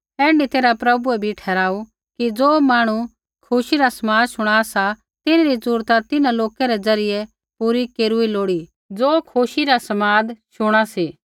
ऐण्ढी तैरहा प्रभुऐ भी ठहराऊ कि ज़ो मांहणु खुशी रा समाद शणा सी तिन्हरी ज़रूरता तिन्हां लोक रै ज़रियै पूरी केरूई लोड़ी ज़ो खुशी रा समाद शुणा सी